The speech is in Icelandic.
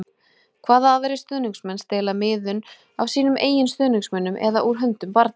Hvaða aðrir stuðningsmenn stela miðum af sínum eigin stuðningsmönnum eða úr höndum barna?